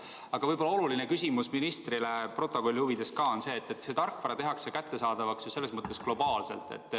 Aga võib-olla oluline küsimus ministrile ka protokolli huvides on see, et see tarkvara tehakse kättesaadavaks ju globaalselt.